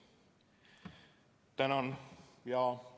Tänan!